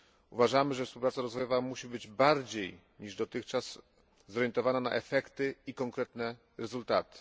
Uważamy, że współpraca rozwojowa musi być bardziej niż dotychczas zorientowana na efekty i konkretne rezultaty.